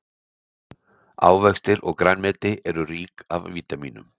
ávextir og grænmeti eru rík af vítamínum